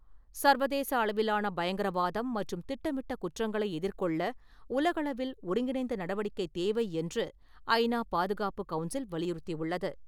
சர்வதேச அளவிலான பயங்கரவாதம் மற்றும் திட்டமிட்ட குற்றங்களை எதிர்கொள்ள உலகளவில் ஒருங்கிணைந்த நடவடிக்கை தேவை என்று ஐநா பாதுகாப்பு கவுன்சில் வலியுறுத்தியுள்ளது.